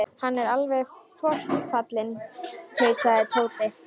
Hann er alveg forfallinn tautaði Tóti.